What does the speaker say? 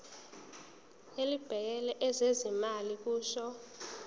elibhekele ezezimali kusho